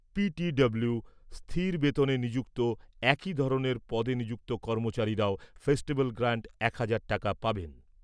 পিটিডব্লিও স্থির বেতনে নিযুক্ত একই ধরনের পদে নিযুক্ত কর্মচারীরাও ফেস্টিভ্যাল গ্রান্ট এক হাজার টাকা পাবেন।